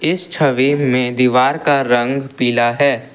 इस छवि में दीवार का रंग पीला है।